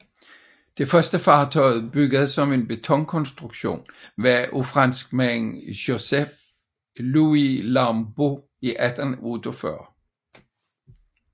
Det første fartøj bygget som en betonkonstruktion var af franskmanden Joseph Louis Lambot i 1848